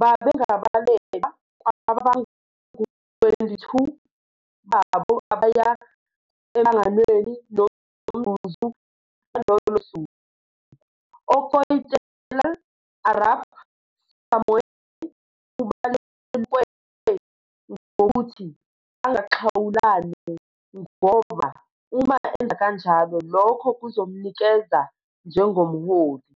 "Babengabalelwa kwabangu-22 babo abaya emhlanganweni "nomzuzu" ngalolo suku. UKoitalel Arap Samoei ubelulekwe ngokuthi angaxhawulane ngoba uma enza kanjalo lokho kuzomnikeza njengomholi.